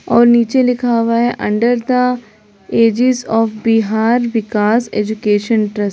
और नीचे लिखा हुआ है under the aegis of Bihar Vikas education trust.